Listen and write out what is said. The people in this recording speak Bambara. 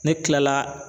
Ne kila la